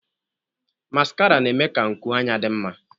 Maskara na-eme ka nkụ anya dị mma.